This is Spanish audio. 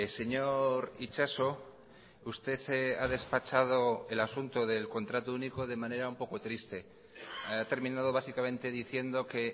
señor itxaso usted ha despachado el asunto del contrato único de manera un poco triste ha terminado básicamente diciendo que